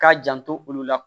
K'a janto olu la